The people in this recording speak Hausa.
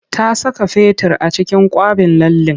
Ta saka fetur a cikin kwaɓin lallen.